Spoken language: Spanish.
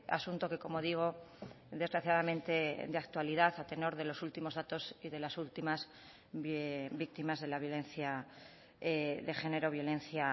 asunto que como digo desgraciadamente de actualidad a tenor de los últimos datos y de las últimas víctimas de la violencia de género violencia